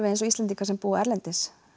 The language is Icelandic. eins og Íslendingar sem búa erlendis